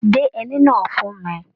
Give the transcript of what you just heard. Gbé ẹní náà fún mí!